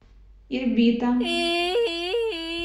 ирбита